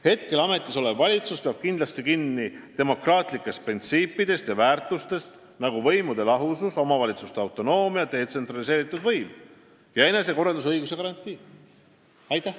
Praegu ametis olev valitsus peab kindlasti kinni demokraatlikest printsiipidest ja väärtustest, nagu võimude lahusus, omavalitsuste autonoomia, detsentraliseeritud võim, enesekorraldusõiguse garantii jne."